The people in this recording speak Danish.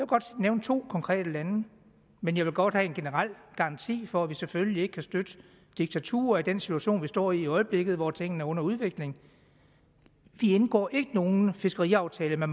godt nævne to konkrete lande men jeg vil godt have en generel garanti for at vi selvfølgelig ikke kan støtte diktaturer i den situation vi står i i øjeblikket hvor tingene er under udvikling vi indgår ikke nogen fiskeriaftale med